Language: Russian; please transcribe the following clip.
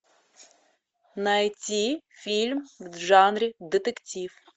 найти фильм в жанре детектив